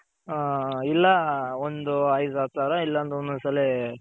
ಹ ಇಲ್ಲ ಒಂದು ಐದ್ ಹತ್ತ್ ಸಾವ್ರ ಇಲ್ಲ ಅಂದ್ರೆ ಒಂದೊಂದು ಸಲಿ